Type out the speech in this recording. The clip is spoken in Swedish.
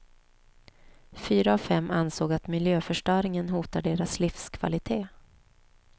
Fyra av fem ansåg att miljöförstöringen hotar deras livskvalitet.